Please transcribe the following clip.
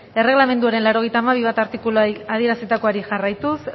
erregelamenduaren laurogeita hamabi puntu bat artikuluak adierazitakoari jarraituz